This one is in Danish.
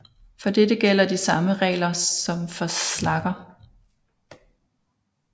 For dette gælder de samme regler som for slagger